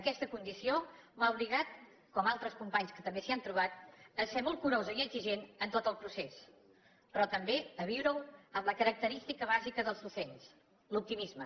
aquesta condició m’ha obligat com a altres companys que també s’hi han trobat a ser molt curosa i exigent en tot el procés però també a viureho amb la característica bàsica dels docents l’optimisme